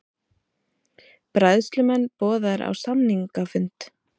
Bræðslumenn boðaðir á samningafund